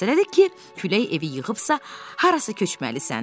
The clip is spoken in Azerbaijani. Məlum məsələdir ki, külək evi yıxıbsa, harasa köçməlisən.